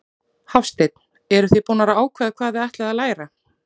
Hafsteinn: Eruð þið búnar að ákveða hvað þið ætlið að læra?